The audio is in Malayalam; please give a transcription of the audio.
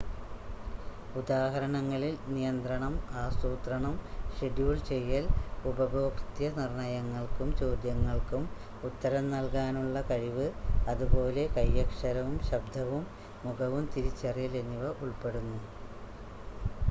ഉദാഹരണങ്ങളിൽ നിയന്ത്രണം ആസൂത്രണം ഷെഡ്യൂൾ ചെയ്യൽ ഉപഭോക്തൃ നിർണ്ണയങ്ങൾക്കും ചോദ്യങ്ങൾക്കും ഉത്തരം നൽകാനുള്ള കഴിവ് അതുപോലെ കൈയക്ഷരവും ശബ്‌ദവും മുഖവും തിരിച്ചറിയൽ എന്നിവ ഉൾപ്പെടുന്നു